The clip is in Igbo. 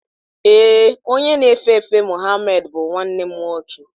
Ee, onye na-efe efe Muhammed bụ nwanne m nwoke.